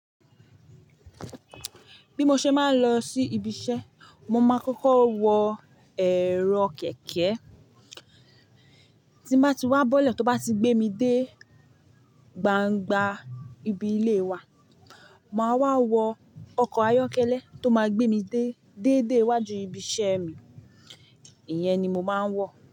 Bí mo ṣe máa ń lọ sí ibi iṣẹ́, mo máa kọ́kọ́ wọ èrò kẹ̀kẹ́. Tí mo bá ti wá bọ́lẹ̀, tó bá ti gbé mi dé gbangba ibi ilé wa, màá wá wọ ọkọ̀ ayọ́kẹ́lẹ́ tó máa gbé mi dé, déédéé wájú ibi iṣẹ́ mi. Ìyẹn ni mo máa ń wọ̀